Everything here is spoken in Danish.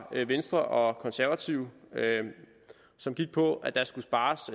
venstre og konservative som gik på at der skulle spares